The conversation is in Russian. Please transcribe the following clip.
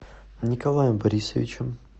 николаем борисовичем